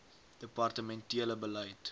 departemen tele beleid